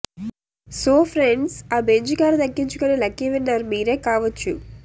so friends ఆ Benz car దక్కించుకునే lucky winner మీరే కావచ్చు